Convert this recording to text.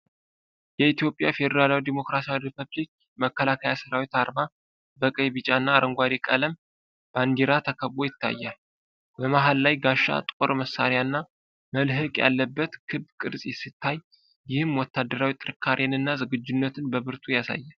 የኢ.ፌ.ዲ.ሪ. መከላከያ ሠራዊት አርማ በቀይ፣ ቢጫና አረንጓዴ ቀለም ባንዲራ ተከቦ ይታያል። በመሀል ላይ ጋሻ፣ ጦር፣ መሣሪያና መልህቅ ያለበት ክብ ቅርጽ ሲታይ፤ ይህም ወታደራዊ ጥንካሬንና ዝግጁነትን በብርቱ ያሳያል።